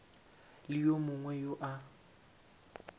le wo mongwe wo o